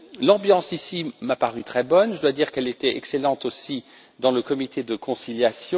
L'ambiance m'a paru ici très bonne, je dois dire qu'elle était excellente aussi dans le comité de conciliation.